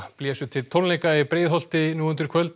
blésu til tónleika í Breiðholti nú undir kvöld